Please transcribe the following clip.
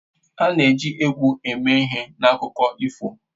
A na-eji egwu eme ihe n'akụkọ ifo